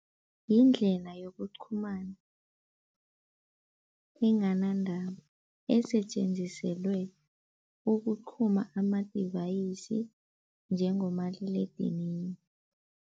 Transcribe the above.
Yindlela yokuqhumana enganantambo esetjenziselwe ukuqhuma ama-device njengomaliledinini.